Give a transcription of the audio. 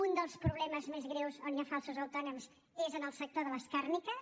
un dels problemes més greus on hi ha falsos autònoms és en el sector de les càrniques